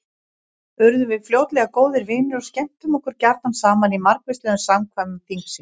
Urðum við fljótlega góðir vinir og skemmtum okkur gjarna saman í margvíslegum samkvæmum þingsins.